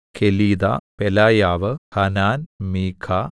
Kelita Pelaiah Hanan മീഖാ